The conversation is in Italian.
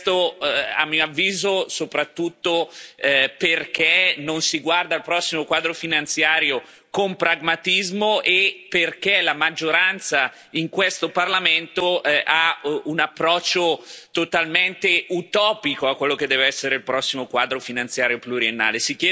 Questo, a mio avviso, soprattutto perché non si guarda al prossimo quadro finanziario con pragmatismo e perché la maggioranza in questo Parlamento ha un approccio totalmente utopico a quello che deve essere il prossimo Quadro finanziario pluriennale.